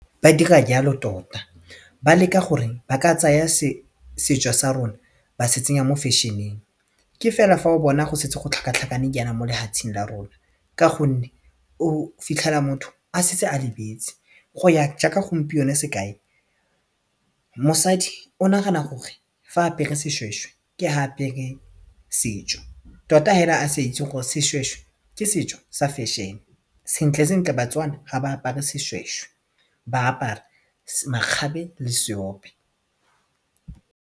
Ba dira jalo tota ba leka gore ba ka tsaya setso sa rona ba se tsenya mo fashion-eng ke fela fa o bona go setse go tlhakatlhakane jaana mo lefatsheng la rona ka gonne o fitlhela motho a setse a lebetse go ya jaaka gompieno sekae mosadi o nagana gore fa apere seshweshwe ke ha a apere setšo tota hela a sa itse gore seshweshwe ke setso sa fashion sentle sentle baTswana ha ba apare seshweshwe ba apara makgabe le seope.